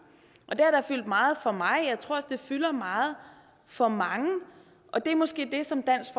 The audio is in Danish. og det har da fyldt meget for mig og jeg tror også det fylder meget for mange og det er måske det som dansk